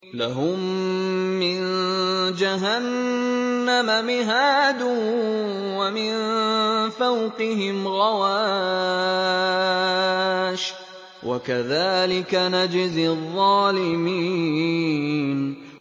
لَهُم مِّن جَهَنَّمَ مِهَادٌ وَمِن فَوْقِهِمْ غَوَاشٍ ۚ وَكَذَٰلِكَ نَجْزِي الظَّالِمِينَ